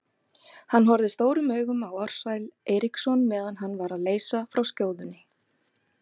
Hann horfði stórum augum á Ársæl Eiríksson meðan hann var að leysa frá skjóðunni.